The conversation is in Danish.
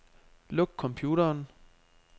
Luk computeren.